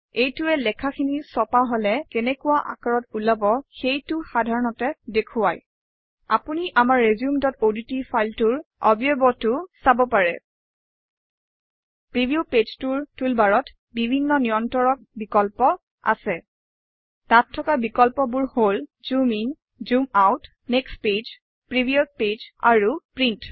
এইটোৱে লেখাখিনি ছপা হলে কেনেকুৱা আকাৰত ওলাব সেইটো সাধাৰণতে দেখুৱায় আপুনি আমাৰ resumeঅডট ফাইলটোৰ অৱয়বটো চাব পাৰে প্ৰিভিউ পেজটোৰ টুলবাৰত বিভিন্ন নিয়ন্ত্ৰক বিকল্প আছে তাত থকা বিকল্পবোৰ হল - zoom in zoom out next page previous page আৰু প্ৰিণ্ট